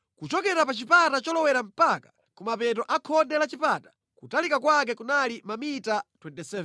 Kuchokera pa chipata cholowera mpaka ku mapeto a khonde la chipata, kutalika kwake kunali mamita 27.